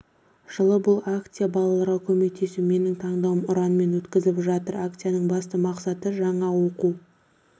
жылы бұл акция балаларға көмектесу менің тандауым ұранымен өткізіліп жатыр акцияның басты мақсаты жаңа оқу